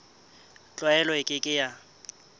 tlwaelo e ke ke ya